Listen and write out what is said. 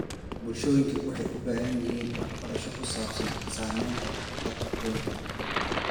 Bulshooyinka waxay u baahan yihiin waxbarasho ku saabsan saamaynta dabka kaynta.